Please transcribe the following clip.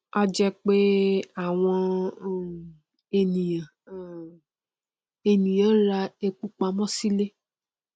a jẹ pé àwọn um ènìyàn um ènìyàn n ra epo pamọ silé